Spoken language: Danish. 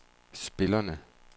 spillerne